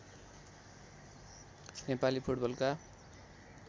नेपाली फुटबलका